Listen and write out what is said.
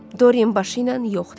Dorian başı ilə yox dedi.